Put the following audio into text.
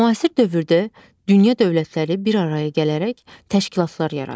Müasir dövrdə dünya dövlətləri bir araya gələrək təşkilatlar yaradır.